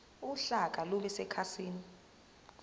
uhlaka lube sekhasini